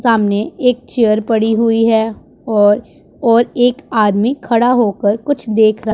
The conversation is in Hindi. सामने एक चेयर पड़ी हुई है और और एक आदमी खड़ा होकर कुछ देख र--